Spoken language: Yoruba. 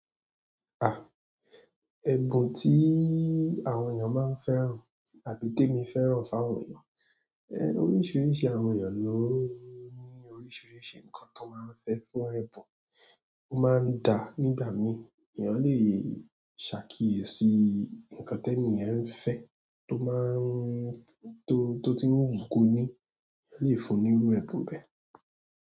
À, ẹ̀bùn tí àwọn èèyàn máa ń fẹ́ràn àbí témi fẹ́ràn fáwọn èèyàn? Ẹ, oríṣiríṣi àwọn èèyàn ló ní oríṣiríṣi nǹkan tan máa ń fẹ́ fún ẹ̀bùn, ó máa ń dà nígbà míi, èèyàn lè ṣàkíyèsí nǹkan tẹniyẹn ń fẹ́ tó máa ń, tó, tó ti ń wù kó ni, èèyàn lè fún un ní irú ẹ̀bùn bẹ́ẹ̀.